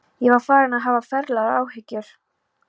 Ég var farinn að hafa ferlegar áhyggjur.